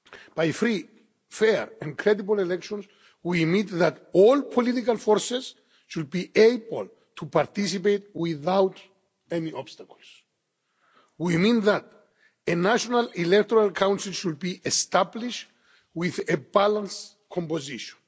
By free, fair and credible elections, we mean that all political forces should be able to participate without any obstacles. We mean that a national electoral council should be established with a balanced composition.